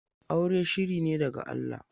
Aure shiri ne daga Allah.